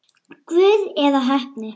Guð eða heppni?